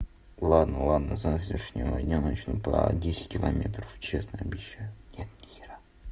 ладно ладно с завтрашнего дня начну про десять километров честно обещаю нет ни хера